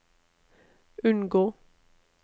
unngå